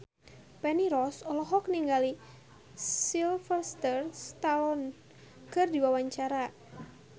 Feni Rose olohok ningali Sylvester Stallone keur diwawancara